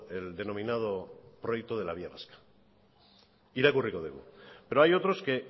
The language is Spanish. el denominado proyecto de la vía vasca irakurriko dugu pero hay otros que